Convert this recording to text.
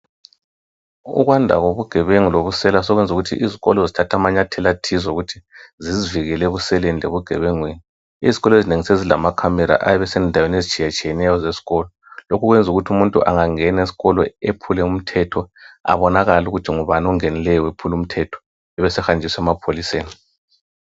Ukwanda kobugebenga lobusela sokusenza ukuthi izikolo zithathe amanyathela athize okuthi zizivikele ebuseleni lebugebengeni. Izikolo ezinengi sezilamakhamera endaweni ezitshiyetshiyeneyo ezesikolo. Lokhu kwenza ukuthi umuntu angangena esikolo ephule umthetho abonakale ukuthi ngubani ongenileyo wephula umthetho abesehanjiswa emapholiseni.